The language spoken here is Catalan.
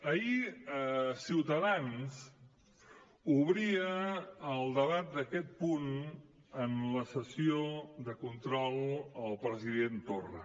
ahir ciutadans obria el debat d’aquest punt en la sessió de control al president torra